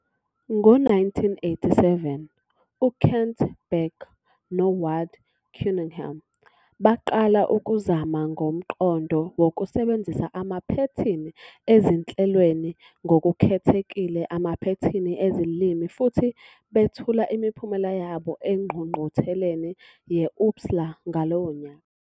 Ngo-1987, uKent Beck noWard Cunningham baqala ukuzama ngomqondo wokusebenzisa amaphethini ezinhlelweni - ngokukhethekile amaphethini ezilimi - futhi bethula imiphumela yabo engqungqutheleni ye- OOPSLA ngalowo nyaka.